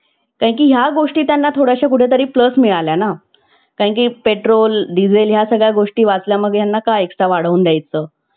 कारण की या गोष्टी त्यांना थोडय़ाशा कुठे तरी plus मिळाल्या ना. कारण की पेट्रोल, डिझेल या सगळ्या गोष्टी वाचल्या मग त्यांना का extra वाढवून द्यायचं.